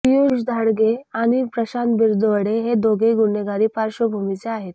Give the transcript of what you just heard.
पियुष धाडगे आणि प्रशांत बिरदवडे हे दोघेही गुन्हेगारी पार्श्वभूमीचे आहेत